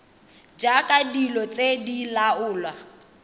jaaka dilo tse di laolwa